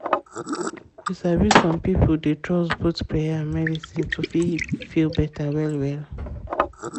you sabi some pipo dey trust both prayer and medicine to fit feel better well well.